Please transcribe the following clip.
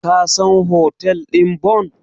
Ka san hotel ɗin Bon?